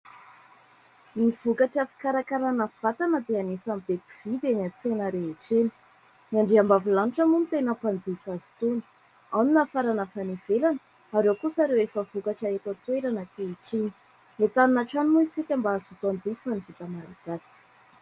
Ny vokatra fikarakarana vatana dia anisany be mpividy eny an-tsena rehetra eny indrindra ny andriam-bavilanitra moa no tena mpanjifa azy itony ; ao ny nafarana avy any ivelany ary ao kosa ireo efa vokatra eto an-toerana ankehitriny. Entanina hatrany moa isika mba hazoto hanjifa ny vita Malagasy.